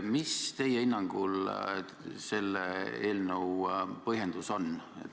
Mis teie hinnangul selle eelnõu põhjendus on?